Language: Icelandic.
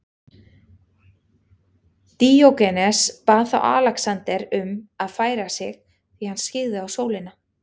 Díógenes bað þá Alexander um að færa sig því hann skyggði á sólina.